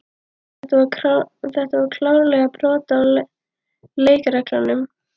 Þetta var klárlega brot á leikreglunum.